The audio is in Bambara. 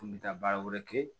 N kun bɛ taa baara wɛrɛ kɛ